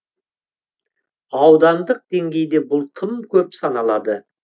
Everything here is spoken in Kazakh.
аудандық деңгейде бұл тым көп саналады